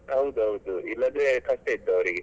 ಹೌದೌದು ಇಲ್ಲದ್ರೆ ಕಷ್ಟ ಇತ್ತು ಅವರಿಗೆ.